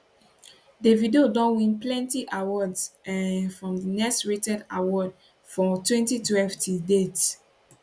davido don win plenti awards um from di next rated award for 2012 till date